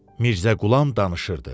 Mirzəqulam danışırdı.